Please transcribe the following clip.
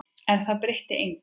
En það breytir engu.